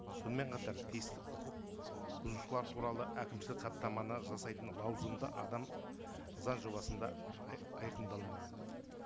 сонымен қатар тиісті құқық бұзушылар туралы әкімшілік хаттаманы жасайтын лауазымды адам заң жобасында айқындалмаған